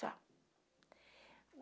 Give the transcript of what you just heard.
Só.